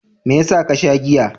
Me yasa ka sha giya?